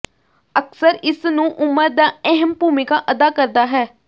ਅਕਸਰ ਇਸ ਨੂੰ ਉਮਰ ਦਾ ਅਹਿਮ ਭੂਮਿਕਾ ਅਦਾ ਕਰਦਾ ਹੈ